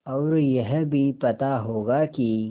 और यह भी पता होगा कि